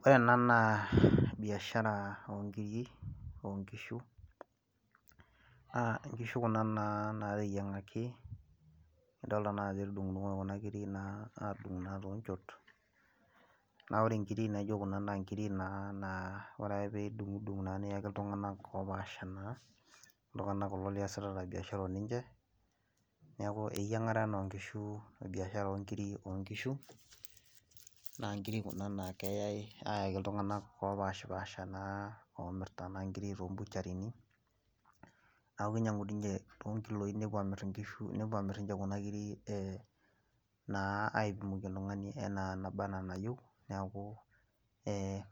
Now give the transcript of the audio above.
ore ena naa biashara oongiri aangishu kuna nateyiang'aki, nolnaa ajo etudungoki kuna kiri toonchot, naa ore kuna kirik ore ake pee idung'udung' niayaki iltung'anak oopaasha, neeku iltunganak kulo omirta inkiri too butchery, naa kinyangu niche too ilkiloi , nepuo amir anaa enayieu oltungani, naa